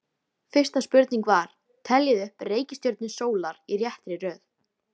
Fyrsta spurning var: Teljið upp reikistjörnur sólar í réttri röð.